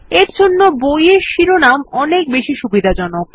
এরজন্য বই এর শিরোনাম অনেক বেশি সুবিধাজনক